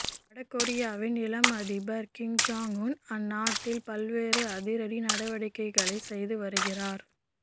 வடகொரியாவின் இளம் அதிபர் கிம் ஜாங் உன் அந்நாட்டில் பல்வேறு அதிரடி நடவடிக்கைகளை செய்து வருகிறார்